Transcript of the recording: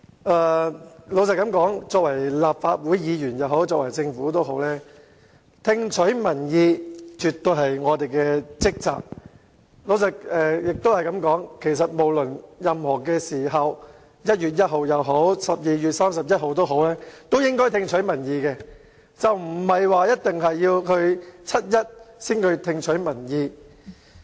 坦白說，無論是立法會議員或政府，聽取民意絕對是我們的職責，亦可以說，無論任何時候，在1月1日也好 ，12 月31日也好，我們也應該聽取民意，而不一定要在七一才聽取民意。